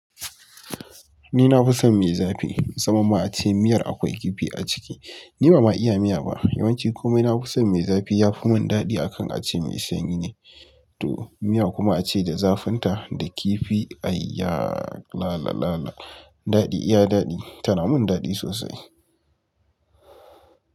Ni na fi son mai zafi. Saman ma a ce miyar akwai kifi a ciki. Ni ba ma iya miya ba. Yawanci komai na fi son mai zafi ya fi mun daɗi akan a ce mai sanyi ne. To miya kuma a ce da zafinta, da kifi. Aiya! La la la la. Daɗi, iya daɗi. Tana mun dadi sosai.